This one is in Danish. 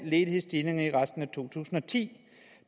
ledighedsstigninger i resten af to tusind og ti